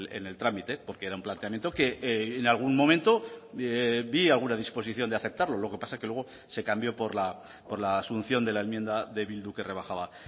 en el trámite porque era un planteamiento que en algún momento vi alguna disposición de aceptarlo lo que pasa que luego se cambió por la asunción de la enmienda de bildu que rebajaba